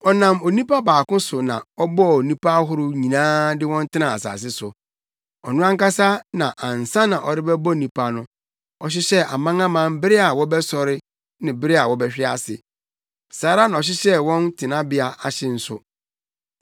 Ɔnam onipa baako so na ɔbɔɔ nnipa ahorow nyinaa de wɔn tenaa asase so. Ɔno ankasa na ansa na ɔrebɛbɔ nnipa no, ɔhyehyɛɛ amanaman bere a wɔbɛsɔre ne bere a wɔbɛhwe ase. Saa ara na ɔhyehyɛɛ wɔn tenabea ahye nso.